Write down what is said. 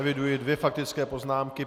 Eviduji dvě faktické poznámky.